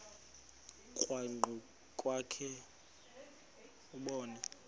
krwaqu kwakhe ubone